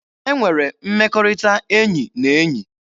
E nwere mmekọrịta enyi na enyi.